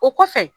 O kɔfɛ